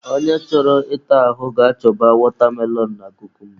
Onye chọrọ ịta ahụ ga-achọba watermelon na kukumba